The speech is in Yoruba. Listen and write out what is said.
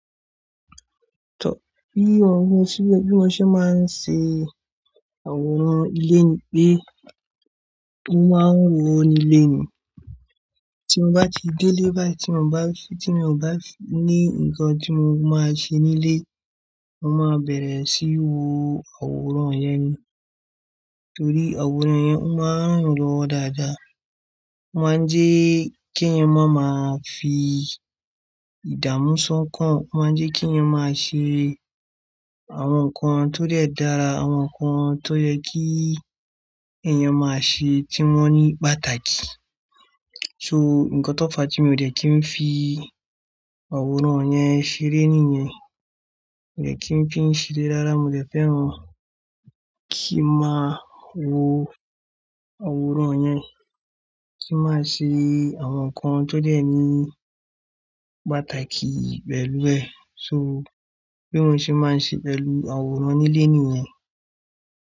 Tọ́ bí òhun ni síbẹ̀ bí mo ṣe máa ń ṣe àwòrán ilé ni pé mo máa ń wọ́n ní ilé ni. Tí mo bá ti dé ilé báyìí, tí mo bá fi, tí mo bá ní ǹkan tí mo máa ṣe nílé, mo máa bẹ̀rẹ̀ síí wo àwòrán yẹn. Nítorí àwòrán yẹn, mo máa ń wò ó dáadáa. Mo máa ń jẹ́ kí ẹ̀yin máa ma fi ìdààmú ṣán kan, mo máa ń jẹ́ kí ẹ̀yin máa ṣe àwọn nǹkan tó de dara, àwọn nǹkan tó yẹ kí ẹ̀yan máa ṣe tí wọ́n ní pàtàkì. So, ǹkan tó fàá tí mi ò dẹ́ kí n fi àwòrán yẹn ṣeré nìyẹn. Mi ò dẹ́ kí n fi ṣeré raára, mo dẹ́ fẹ́ràn kí n máa wo àwòrán yẹn, kí n máa ṣe àwọn nǹkan tó dẹ́ ní pàtàkì pẹ́lú rẹ. So, bí mo ṣe máa ń ṣe pẹ́lú àwòrán nílé nìyẹn.